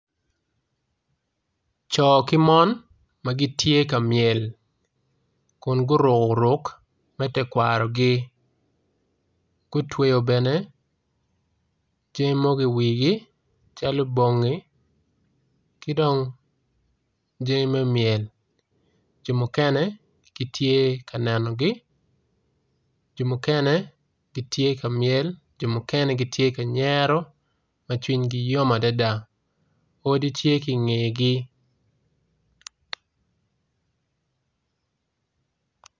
Ci ki mon magitye ka myel kun guruko ruk me tekwarogi gutweo bene jami mogo i wigi calo bongi kidong jami me myel jo mukene gitye ka nenogi jo mukene gitye ka myel jo mukene gitye kanyero ma iyigi yom adada odi tye ki ngegi.